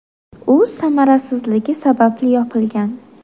U samarasizligi sababli yopilgan.